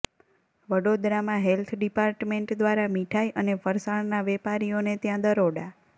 વડોદરામાં health department દ્વારા મીઠાઈ અને ફરસાણના વેપારીઓને ત્યાં દરોડા